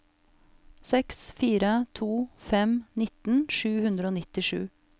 seks fire to fem nitten sju hundre og nittisju